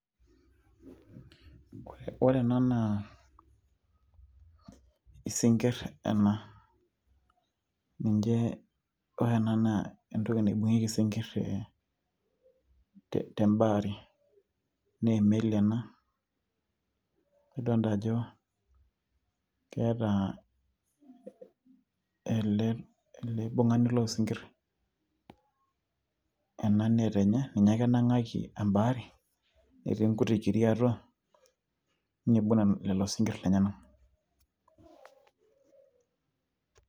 ore ena naa isinkirr ena ninche, ore ena naa entoki naibung'ieki isinkirr te tembaari naa emeli ena, nidoonta ajo keeta ele aibung'ani loosinkirr ena net enye ninye ake enang'aki embaari etii inkuti kiri atua niibung lelo sinkirr lenyena.